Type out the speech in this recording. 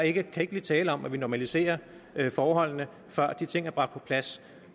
ikke kan blive tale om at vi normaliserer forholdene før de ting er bragt på plads